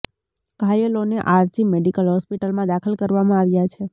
ઘાયલોને R G medical હોસ્પિટલમાં દાખલ કરવામાં આવ્યા છે